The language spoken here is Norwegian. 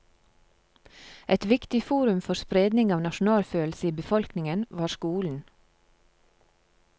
Et viktig forum for spredning av nasjonalfølelse i befolkningen var skolen.